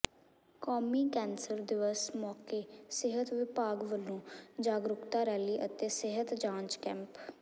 ਕੌਮੀ ਕੈਂਸਰ ਦਿਵਸ ਮੌਕੇ ਸਿਹਤ ਵਿਭਾਗ ਵੱਲੋਂ ਜਾਗਰੂਕਤਾ ਰੈਲੀ ਅਤੇ ਸਿਹਤ ਜਾਂਚ ਕੈਂਪ